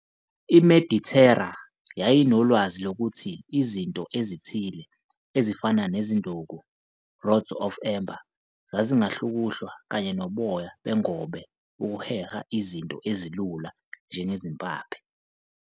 iMedithera ayenolwazi lokuthi izinto ezithile, ezifana nezinduku, "rods of amber", zazingahlukuhlwa kanye noboya bengobe ukuheha izinto ezilula njengezimpaphe.